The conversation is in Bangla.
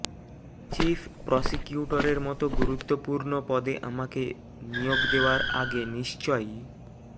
চিফ প্রসিকিউটরের মতো গুরুত্বপূর্ণ পদে আমাকে নিয়োগ দেওয়ার আগে নিশ্চয়ই